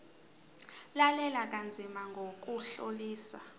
lalela kanzima ngokuhlolisisa